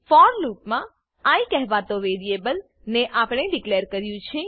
four લૂપમા i કહેવાતા variable ને આપણે ડીકલેર કર્યું છે